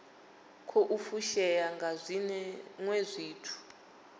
khou fushea nga zwiwe zwithu